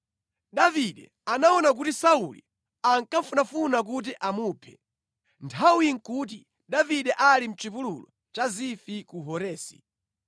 Davide anaona kuti Sauli akufunafuna kuti amuphe. Nthawiyi nʼkuti Davide ali mʼchipululu cha Zifi ku Horesi.